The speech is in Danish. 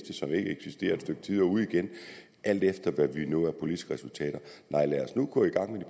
stykke tid og ude igen alt efter hvad vi når af politiske resultater nej lad os nu gå i gang med